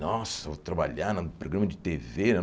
Nossa, vou trabalhar num programa de Tê Vê né.